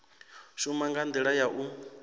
shuma nga ndila ya u